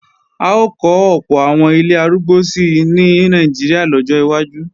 À ó kọ́ ọ̀pọ̀ àwọn ilé arúgbó si ní Nàìjíríà lọ́jọ́ wájú